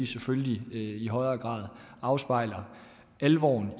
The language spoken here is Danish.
selvfølgelig i højere grad afspejler alvoren